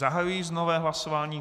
Zahajuji nové hlasování.